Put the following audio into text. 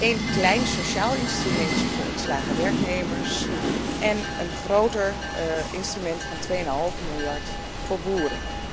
Een klein sociaal instrumentje voor ontslagen werknemers en een groter instrument van 2,5 miljard voor boeren.